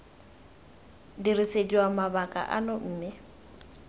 dirisediwa mabaka ao mme c